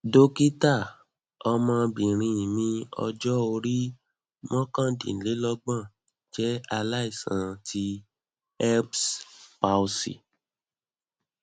dokita ọmọbìnrin mi ọjọ orí mokandinlogbon jẹ alaisan ti erbs palsy